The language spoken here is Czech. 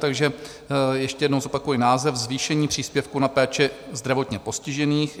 Takže ještě jednou zopakuji název: Zvýšení příspěvku na péči zdravotně postižených.